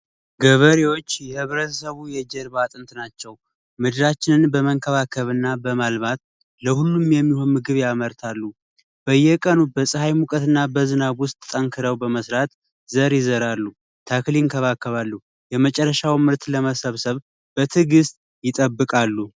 ገበሬዎች የህብረተሰቡ የጀርባ አጥር ናቸው። ምድራችንን በመንከባከብ እና በማልማት ለሁሉም የሚሆን ምግብ ያመርታሉ። በየቀኑ በፀሀይ ሙቀት እና በዝናብ በዝናብ ውስጥ ጠንከረው በመስራት ዘር የዘራሉ፣ ተክል ይንከባከባሉ ፣የመጨረሻውን ምርት ለመሰብሰብ በትዕግሥት ይጠብቃሉ።